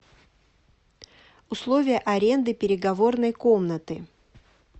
условия аренды переговорной комнаты